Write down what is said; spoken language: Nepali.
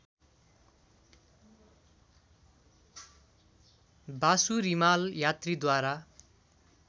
वासु रिमाल यात्रीद्वारा